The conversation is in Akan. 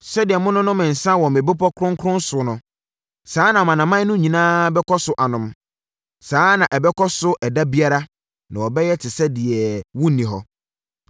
Sɛdeɛ mononom nsã wɔ me bepɔ kronkron so no, saa ara na amanaman no nyinaa bɛkɔ so anom, saa ara na ɛbɛkɔ so ɛda biara na wɔbɛyɛ te sɛ deɛ wonni hɔ.